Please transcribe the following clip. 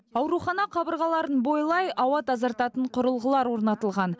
аурухана қабырғаларын бойлай ауа тазартатын құрылғылар орнатылған